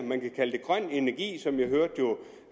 grøn energi som jeg hørte